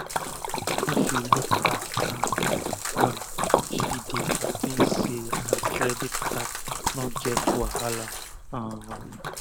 afta she look her akat well she dey hapi say her credit card no get wahala um